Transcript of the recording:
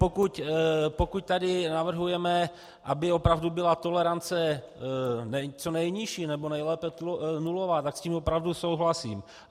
Pokud tady navrhujeme, aby opravdu byla tolerance co nejnižší, nebo nejlépe nulová, tak s tím opravdu souhlasím.